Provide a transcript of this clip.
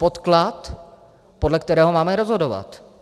Podklad, podle kterého máme rozhodovat.